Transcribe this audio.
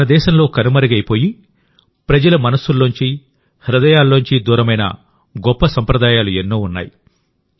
మనదేశంలో కనుమరుగైపోయిప్రజల మనసుల్లోంచి హృదయాల్లోంచి దూరమైన గొప్ప సంప్రదాయాలు ఎన్నో ఉన్నాయి